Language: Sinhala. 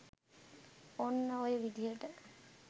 ඔන්න ඔය විදිහට